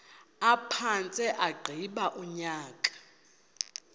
aphantse agqiba unyaka